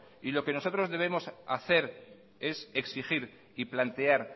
y lo que nosotros debemos hacer es exigir y plantear